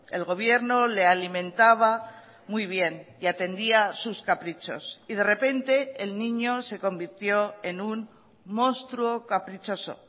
el gobierno le alimentaba muy bien y atendía sus caprichos y de repente el niño se convirtió en un monstruo caprichoso